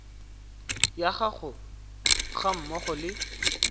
ya gago ga mmogo le